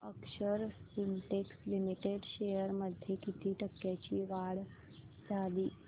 अक्षर Spintex Limited shares मध्ये किती टक्क्यांची वाढ झाली